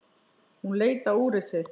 Hún leit á úrið sitt.